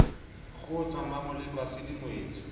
kgotsa mmamoleko ha se dingwetsi